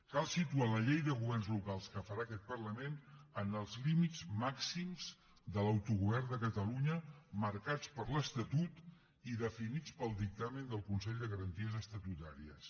cal situar la llei de governs locals que farà aquest parlament en els límits màxims de l’autogovern de catalunya marcats per l’estatut i definits pel dictamen del consell de garanties estatutàries